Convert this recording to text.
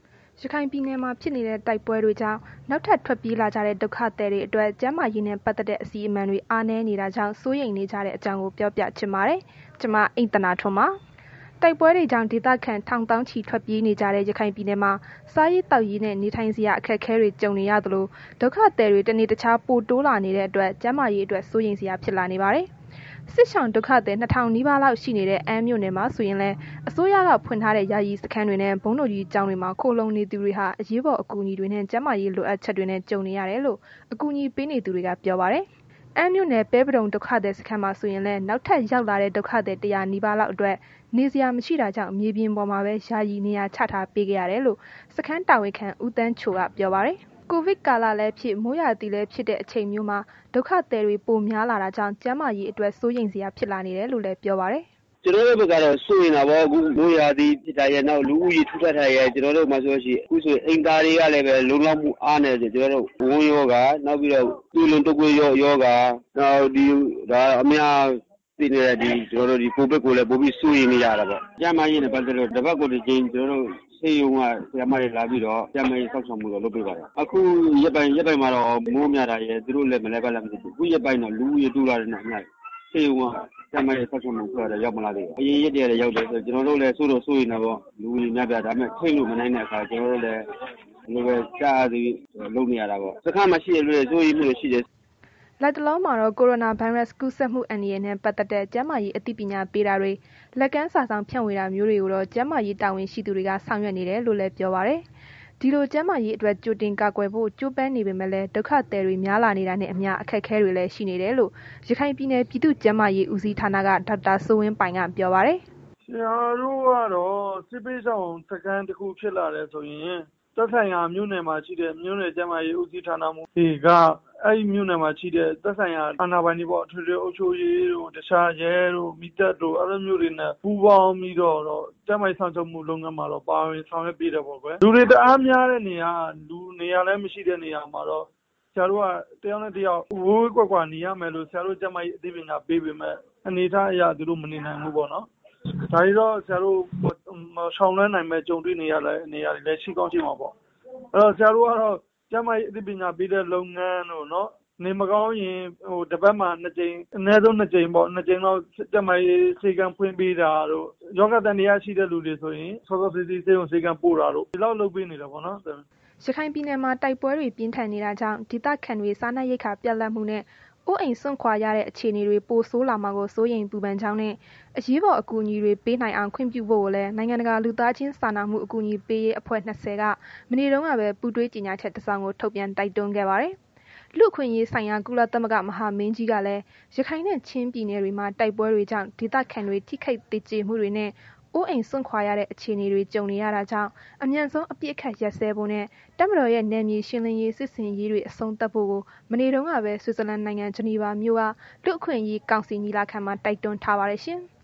ရခိုင်ပြည်နယ်မှာ ဖြစ်နေတဲ့ တိုက်ပွဲတွေကြောင့် နောက်ထပ်ထွက်ပြေးလာကြတဲ့ ဒုက္ခသည်တွေအတွက် ကျန်းမာရေးနဲ့ ပတ်သက်တဲ့ အစီအမံတွေ အားနည်းနေတာကြောင့် စိုးရိမ်နေကြတဲ့အကြောင်းကို ဗွီအိုအေမြန်မာပိုင်းသတင်းထောက် မအိမ့်သန္တာထွန်းက ပြောပြပေးပါမယ်။ တိုက်ပွဲတွေကြောင့် ဒေသခံထောင်သောင်းချီ ထွက်ပြေးနေကြတဲ့ ရခိုင်ပြည်နယ်မှာ စားရေးသောက်ရေးနဲ့ နေထိုင်စရာ အခက်အခဲတွေ ကြုံနေရသလို ဒုက္ခသည်တွေ တနေ့တခြား ပိုတိုးလာနေတဲ့အတွက် ကျန်းမာရေးအတွက် စိုးရိမ်စရာ ဖြစ်လာနေပါတယ်။ စစ်ရှောင် ဒုက္ခသည် ၂,၀၀၀ နီးပါးလောက် ရှိနေတဲ့ အမ်းမြို့နယ်မှာ ဆိုရင်လည်း အစိုးရက ဖွင့်ထားတဲ့ ယာယီစခန်းတွေနဲ့ ဘုန်းတော်ကြီးကျောင်းတွေမှာ ခိုလှုံနေသူတွေဟာ အရေးပေါ် အကူအညီတွေနဲ့ ကျန်းမာရေး လိုအပ်ချက်တွေနဲ့ ကြုံနေရတယ်လို့ အကူအညီပေးနေသူတွေက ပြောပါတယ်။ အမ်းမြို့နယ် ပဲပဒုံ ဒုက္ခသည်စခန်းမှာ ဆိုရင်လည်း နောက်ထပ်ရောက်လာတဲ့ ဒုက္ခသည် ၁၀၀ နီးပါးလောက်အတွက် နေစရာ မရှိတာကြောင့်မြေပြင်ပေါ်မှာပဲ ယာယီနေရာချထားပေးခဲ့ရတယ်လို့ စခန်းတာဝန်ခံ ဦးသန်းချိုက ပြောပါတယ်။ ကိုဗစ်ကာလလည်းဖြစ် မိုးရာသီလည်းဖြစ်တဲ့ အချိန်မျိုးမှာ ဒုက္ခသည်တွေ ပိုများလာတာကြောင့် ကျန်းမာရေးအတွက် စိုးရိမ်စရာ ဖြစ်လာနေတယ်လို့လည်း ပြောပါတယ်။ “ကျနော်တို့ဘက်ကတော့ စိုးရိမ်တာပေါ့ အခုက မိုးရာသီဖြစ်တာရယ်၊ နောက် လူဦးရေထူထပ်တာရယ်၊ ခုဆို ကျနော်တို့မှာဆိုရင် အိမ်သာတွေကလည်းပဲ လုံလောက်မှု အားနည်းတယ်။ ဝမ်းရောဂါ၊ သွေးလွန်တုတ်ကွေးရောဂါ နောက်ဒီ အများသိတဲ့ ကိုဗစ်ကိုလည်း ပိုပြီးစိုးရိမ်နေရတာပေါ့။ ကျန်းမာရေးနဲ့ ပတ်သက်လို့ကတော့ တပတ်ကိုတစ်ကြိမ် ဆေးရုံက ဆရာမတွေလာပြီးတော့ ကျန်းမာရေးစောင့်ရှောက်မှုတော့ လုပ်ပေးပါတယ်။ အခုရက်ပိုင်းမှာတော့ မိုးများတာရယ် သူတို့လည်း ဘယ်လိုဖြစ်လဲတော့မသိဘူး၊ ခုရက်ပိုင်းတော့ လူဦးရေ တိုးလာတဲ့နောက်ပိုင်းတော့ ဆေးရုံက သတ်မှတ်တဲ့ စောင့်ရှောက်မှုအဖွဲ့ကတော့ ရောက်မလာသေးပါဘူး။ အရင်ရက်တွေကတော့ ရောက်တယ်။ ကျနော်တို့လည်း စိုးတော့ စိုးရိမ်တာပေါ့။ လူဦးရေများတော့။ ဒါပေမဲ့ ထိန်းလို့မနိုင်တော့ ကျလိုဖြစ်သလိုပဲ ကျနော်တို့လည်း လုပ်နေရတာပေါ့။ စခန်းမှာရှိတဲ့သူတွေကလည်း စိုးရိမ်မှုတွေ ရှိတယ်။” လတ်တလောမှာတော့ ကိုရိုနာဗိုင်းရပ်စ် ကူးစက်မှု အန္တရာယ်နဲ့ ပတ်သက်တဲ့ ကျန်းမာရေး အသိပညာပေးတာတွေ လက်ကမ်းစာစောင် ဖြန့်ဝေတာမျိုးတွေကိုတော့ ကျန်းမာရေးတာဝန်ရှိသူတွေက ဆောင်ရွက်နေတယ်လို့လည်း ပြောပါတယ်။ ဒီလို ကျန်းမာရေးအတွက် ကြိုတင်ကာကွယ်ဖို့ ကြိုးပမ်းနေပေမဲ့လည်း ဒုက္ခသည်တွေ များလာနေတာနဲ့အမျှ အခက်အခဲတွေလည်း ရှိနေတယ်လို့ ရခိုင်ပြည်နယ် ပြည်သူ့ကျန်းမာရေး ဦးစီးဌာနက ဒေါက်တာစိုးဝင်းပိုင်က ပြောပါတယ်။ “ကျနော်တို့ကတော့ စစ်ဘေးရှောင်စခန်း တစ်ခုဖြစ်လာတယ်ဆိုရင် သက်ဆိုင်ရာ မြို့နယ်မှာရှိတဲ့ မြို့နယ် ကျန်းမာရေး ဦးစီးဌာနမှူးတွေက အဲ့ဒီမြို့နယ်မှာရှိတဲ့ သက်ဆိုင်ရာ အာဏာပိုင်တွေပေါ့၊ အထွေထွေအုပ်ချုပ်ရေးတို့ တခြား ရဲတို့ မီးသတ်တို့ အဲ့လိုမျိုးတွေနဲ့ ပူးပေါင်းပြီးတော့တော့ ကျန်းမာရေးလုပ်ငန်းတွေမှာတော့ ပါဝင်ဆောင်ရွက်ပေးတယ်ပေါ့ကွယ်။ လူတွေတအားများတဲ့နေရာ လူနေစရာလည်း မရှိတဲ့နေရာတွေမှာကတော့ ကျနော်တို့က တစ်ယောက်နဲ့ တစ်ယောက် ဝေးဝေးကွာကွာနေရမယ်လို့ ကျန်းမာရေး အသိပညာပေးပေမယ့် အနေအထားအရ သူတို့အနေနိုင်ဘူးပေါ့နော်။ ဒါတွေကို အရှောင်လွဲနိုင်ပဲ ကြုံတွေနေရတဲ့ နေရာတွေလည်း ရှိကောင်းရှိမှာပေ့ါ။ အဲ့တော့ ဆရာတို့ကတော့ ကျန်းမာရေးအသိပညာပေးတဲ့ လုပ်ငန်းတို့၊ နေမကောင်းရင် တပတ်မှာနှစ်ကြိမ် အနည်းဆုံး နှစ်ကြိမ်ပေါ့ ကျန်းမာရေး ဆေးခန်းဖွင့်ပေးတာတို့ ရောဂါသံသယရှိတဲ့သူတွေဆိုရင် စောစောစီးစီး ဆေးရုံဆေးခန်းပို့ပေးတာတို့ ဒီလောက်လုပ်ပေးနေတယ်ပေါ့။" ရခိုင်ပြည်နယ်မှာ တိုက်ပွဲတွေ ပြင်းထန်နေတာကြောင့် ဒေသခံတွေ စားနပ်ရိက္ခာ ပြတ်လပ်မှုနဲ့ အိုးအိမ်စွန့်ခွာရတဲ့ အခြေအနေတွေ ပိုဆိုးလာမှာကို စိုးရိမ်ပူပန်ကြောင်းနဲ့ အရေးပေါ် အကူအညီတွေ ပေးနိုင်အောင် ခွင့်ပြုဖို့လည်း နိုင်ငံတကာ လူသားချင်းစာနာမှု အကူအညီပေးရေးအဖွဲ့ ၂၀ က မနေ့တုန်းကပဲ ပူးတွဲကြေညာချက် တစ်စောင် ထုတ်ပြန်တိုက်တွန်းခဲ့ပါတယ်။ လူ့အခွင့်အရေးဆိုင်ရာ ကုလသမဂ္ဂ မဟာမင်းကြီးကလည်း ရခိုင်နဲ့ ချင်းပြည်နယ်တွေမှာ တိုက်ပွဲတွေကြောင့် ဒေသခံတွေ ထိခိုက်သေကျေမှုတွေနဲ့ အိုးအိမ်စွန့်ခွာရတဲ့ အခြေအနေတွေ ကြုံနေရတာကြောင်း အမြန်ဆုံး အပစ်အခတ် ရပ်စဲဖို့နဲ့ တပ်မတော်ရဲ့ နယ်မြေရှင်းလင်းရေး စစ်ဆင်ရေးတွေ အဆုံးသတ်ဖို့ကို မနေ့တုန်းကပဲ ဆွစ်ဇာလန်နိုင်ငံ ဂျနီဗာမြို့က လူ့အခွင့်အရေးကောင်စီ ညီလာခံမှာ တိုက်တွန်းထားပါတယ်ရှင်။